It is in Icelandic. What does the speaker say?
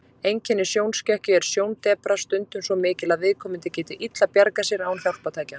Einkenni sjónskekkju er sjóndepra, stundum svo mikil að viðkomandi getur illa bjargað sér án hjálpartækja.